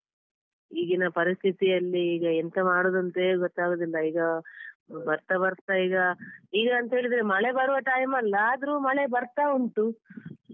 ಈಗಿನ ಪರಿಸ್ಥಿತಿಯಲ್ಲಿ ಈಗ ಎಂತ ಮಾಡುದಂತವೇ ಗೊತ್ತಾಗುದಿಲ್ಲ ಈಗ ಬರ್ತಾ ಬರ್ತಾ ಈಗ, ಈಗ ಅಂತೇಳಿದ್ರೆ ಮಳೆ ಬರುವ time ಅಲ್ಲ ಆದ್ರೂ ಮಳೆ ಬರ್ತಾ ಉಂಟು.